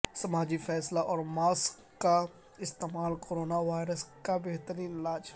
سماجی فاصلہ اور ماسک کا استعمال کورونا وائرس کا بہترین علاج